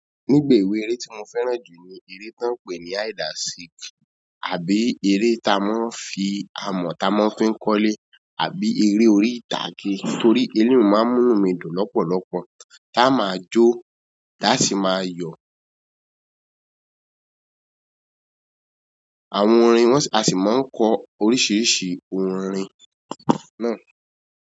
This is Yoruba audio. Nígbebe eré tí mo fẹ́ràn jù ni eré tó ń pè ní hide and seek àbí eré tá ń fi amọ̀ tá ń fi kọ́lé àbí eré orí ìtàgé torí ẹlòmí máa ń mú mi dùn lọ́pọ̀lọ́pọ̀ tá a máa jó ta sí máa yọ̀. Àwọn orin wọ́n a sì máa ń kọ oríṣiríṣi orin náà.